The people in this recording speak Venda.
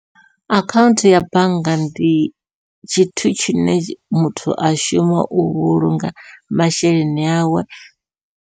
Akhaunthu ya bannga ndi tshithu tshine muthu a shuma u vhulunga masheleni awe.